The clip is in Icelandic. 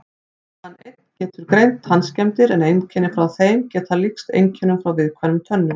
Hann einn getur greint tannskemmdir en einkenni frá þeim geta líkst einkennum frá viðkvæmum tönnum.